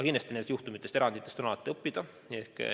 Kindlasti on nendest juhtumitest, eranditest alati õppida.